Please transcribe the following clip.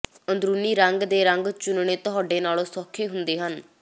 ਅੰਦਰੂਨੀ ਰੰਗ ਦੇ ਰੰਗ ਚੁਣਨੇ ਤੁਹਾਡੇ ਨਾਲੋਂ ਸੌਖੇ ਹੁੰਦੇ ਹਨ